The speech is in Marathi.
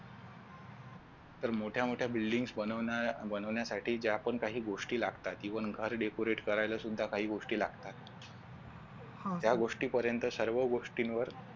तर मोठ्या मोठ्या buildings बनवण्यासाठी ज्या पण काही गोष्टी लागतात even घर decorate करायला सुद्धा काही गोष्टी लागतात त्या गोष्टींपर्यंत सर्व गोष्टींवर